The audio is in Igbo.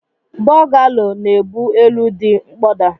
Bọgalo na ebu elu di nkpọda.